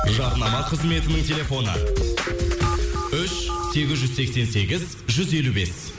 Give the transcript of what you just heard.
жарнама қызметінің телефоны үш сегіз жүз сексен сегіз жүз елу бес